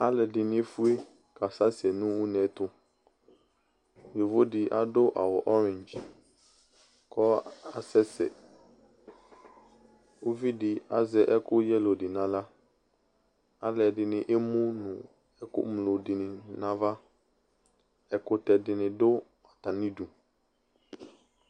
Alʋ ɛdɩnɩ efue, kasɛsɛ nʋ une ɛtʋ Yovo dɩ adʋ awʋ oredzi kʋ asɛsɛ, uvidɩ azɛ ɛkʋ yelo dɩ nʋ aɣla, alʋ ɛdɩnɩ emu nʋ ɛkʋŋlo dɩnɩ nʋ ava, ɛkʋtɛ dɩnɩ dʋ atamɩ idu